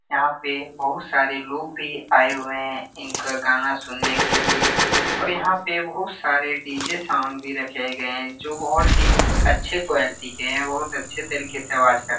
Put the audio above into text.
यहाँ पे बहोत सारे लोग भी आए हुए हैं इनका गाना सुनने के लिए और यहाँ पे बहुत सारे डी.जे. साउंड भी रखे गए जो बहोत ही अच्छे क्वालिटी के है बहोत अच्छे तरीके से आवाज कर --